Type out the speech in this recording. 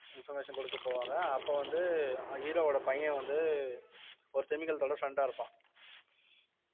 information குடுக்க போவாங்க அப்ப வந்து அஹ் hero வோட பையன் வந்து ஒரு திமிங்கலத்தோட friend ஆ இருப்பான்